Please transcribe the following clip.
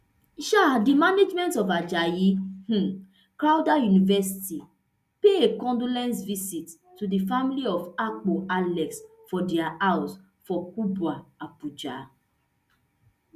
um di management of ajayi um crowther university pay a condolence visit to di family of akpo alex for dia house for kubwa abuja